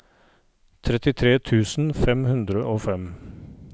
trettitre tusen fem hundre og fem